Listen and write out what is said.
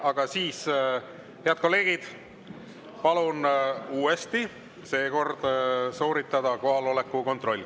Aga siis, head kolleegid, palun uuesti sooritada kohaloleku kontroll.